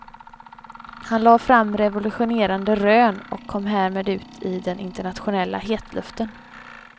Han lade fram revolutionerande rön och kom härmed ut i den internationella hetluften.